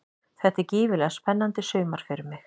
Þetta er gífurlega spennandi sumar fyrir mig.